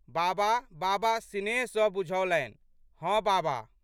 बाबा बाबा सिनेह सँ बुझओलनि. "हँ बाबा!